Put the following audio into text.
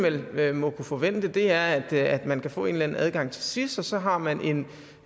vel må kunne forvente er at at man kan få en eller anden adgang til sis og så har man